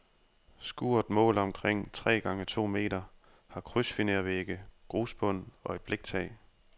Skuret måler omkring tre gange to meter, har krydsfinervægge, grusbund og et bliktag.